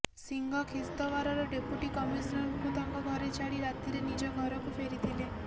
ସିଂହ ଖିସ୍ତଓ୍ବାରର ଡେପୁଟି କମିସନରଙ୍କୁ ତାଙ୍କ ଘରେ ଛାଡ଼ି ରାତିରେ ନିଜ ଘରକୁ ଫେରିଥିଲେ